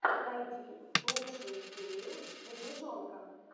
найди лучшую серию медвежонка